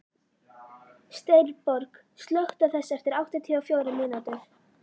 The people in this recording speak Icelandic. Steinborg, slökktu á þessu eftir áttatíu og fjórar mínútur.